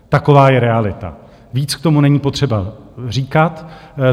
Taková je realita, víc k tomu není potřeba říkat.